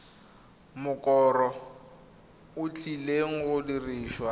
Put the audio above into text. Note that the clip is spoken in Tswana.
mokoro o tlileng go dirisiwa